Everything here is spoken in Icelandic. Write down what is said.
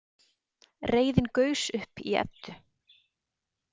Reiðin gaus upp í Eddu.